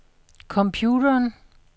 computeren